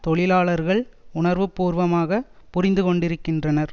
தொழிலாளர்கள் உணர்வு பூர்வமாக புரிந்துக்கொண்டிருக்கின்றனர்